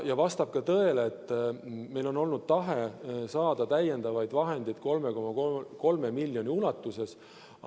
Vastab ka tõele, et meil on olnud tahe saada täiendavaid vahendeid 3,3 miljoni ulatuses.